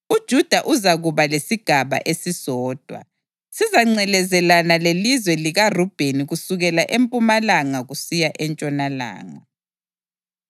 UJuda uzakuba lesigaba esisodwa; sizangcelezelana lelizwe likaRubheni kusukela empumalanga kusiya entshonalanga.